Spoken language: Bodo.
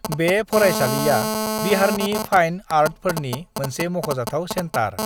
बे फरायसालिया बिहारनि फाइन आर्टफोरनि मोनसे मख'जाथाव सेन्टार।